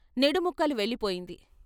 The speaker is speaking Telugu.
నిడుముక్కలు వెళ్ళిపోయింది.